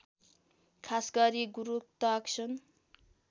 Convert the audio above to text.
खास गरी गुरुत्वाकर्षण